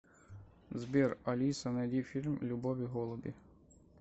сбер алиса найди фильм любовь и голуби